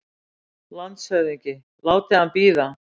LANDSHÖFÐINGI: Látið hann bíða!